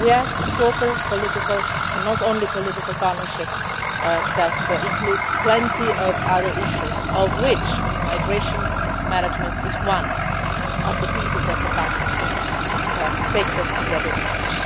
We have a proper political and not only political partnership that includes plenty of other issues, one in which migration management is one of the pieces of the puzzle that brings us together with